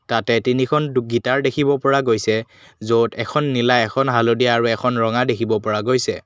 তাতে তিনিখন দু গীটাৰ দেখিব পৰা গৈছে য'ত এখন নীলা এখন হালধীয়া আৰু এখন ৰঙা দেখিব পৰা গৈছে।